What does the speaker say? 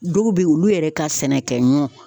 Dɔw be yen olu yɛrɛ ka sɛnɛ kɛ ɲɔn